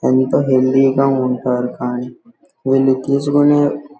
ఎంత హెల్తీ గా ఉంటారు కానీ వీళ్లు తీసుకునే --